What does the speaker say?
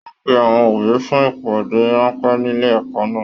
Wọn pe àwọn òbí fún ìpàdé ránpẹ́ nílé ẹ̀kọ́ náà.